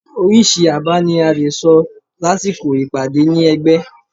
oríṣi àbá ní a lẹ sọ lásìkò ìpàdé ni ẹgbẹ